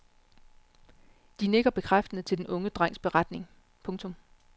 De nikker bekræftende til den unge drengs beretning. punktum